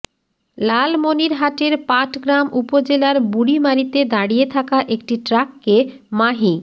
লালমনিরহাটের পাটগ্রাম উপজেলার বুড়িমারীতে দাঁড়িয়ে থাকা একটি ট্রাককে মাহি